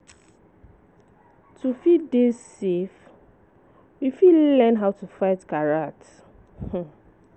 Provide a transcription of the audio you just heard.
To fit dey safe, we fit learn how to fight karate